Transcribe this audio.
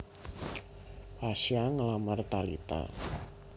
Pasha nglamar Talita